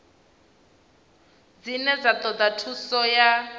dzine dza toda thuso ya